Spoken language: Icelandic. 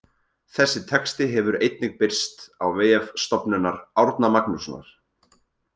Þessi texti hefur einnig birst á vef Stofnunar Árna Magnússonar.